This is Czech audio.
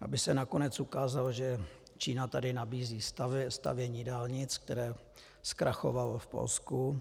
aby se nakonec ukázalo, že Čína tady nabízí stavění dálnic, které zkrachovalo v Polsku.